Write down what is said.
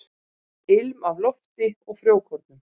Ilm af lofti og frjókornum.